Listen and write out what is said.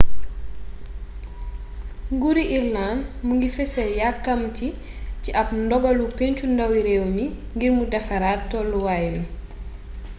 nguuruu irëland mu ngi fessal yakamati ci ab ndogalu pencu ndawi réew mi ngir mu defaraat tolluwaay wi